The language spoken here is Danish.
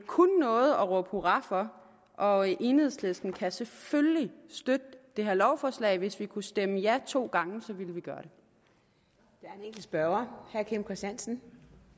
kun noget at råbe hurra for og enhedslisten kan selvfølgelig støtte det her lovforslag hvis vi kunne stemme ja to gange ville vi gøre det